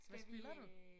Hvad spiller du?